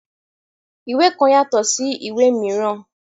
Ìwé kan yatọ sí ìwé míràn.